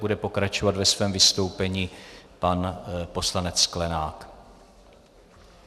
Bude pokračovat ve svém vystoupení pan poslanec Sklenák.